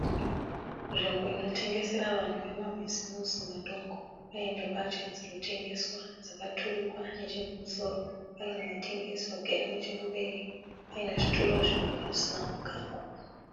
Nzvimbo inotengesera vanhu vema bhizimusi madoko. Paine mbatya dzirikutengeswa dzakaturikwa nechekumusoro. Paine vatengesi vagere nechekumberi. Paine zvituru zviviri zvisina kugagwa.